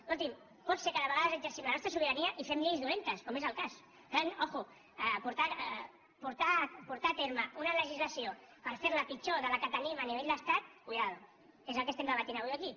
escolti’m pot ser que de vegades exercim la nostra sobirania i fem lleis dolentes com és el cas per tant ull portar a terme una legislació per fer la pitjor que la que tenim a nivell d’estat compte que és el que estem debatent avui aquí